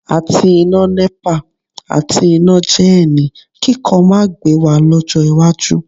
Àti iná Nepa àti iná jẹ́ẹ̀nì kíkan máa gbé wa lọ́jọ́ iwájú